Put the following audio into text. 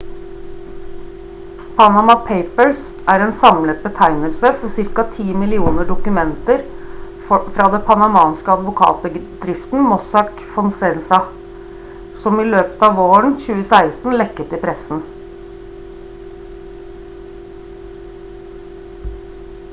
«panama papers» er en samlet betegnelse for ca. 10 millioner dokumenter fra det panamanske advokatbedriften «mossack fonseca» som i løpet av våren 2016 lekket til pressen